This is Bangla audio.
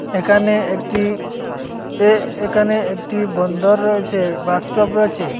একানে একটি এ একানে একটি বন্দর রয়েছে বাস স্টপ রয়েছে।